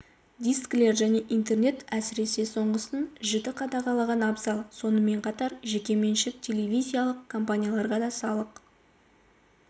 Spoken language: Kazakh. дискілер және интернет әсіресе соңғысын жіті қадағалаған абзал сонымен қатар жекеменшік телевизиялық компанияларға да салық